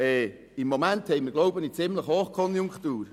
Im Moment befinden wir uns jedoch in einer ziemlichen Hochkonjunktur.